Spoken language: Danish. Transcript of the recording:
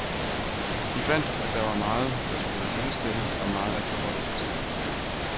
De fandt, at der var meget, der skulle lyttes til og meget at forholde sig til.